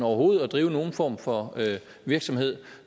overhovedet at drive nogen form for virksomhed